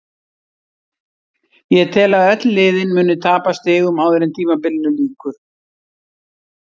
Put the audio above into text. Ég tel að öll liðin muni tapa stigum áður en tímabilinu lýkur.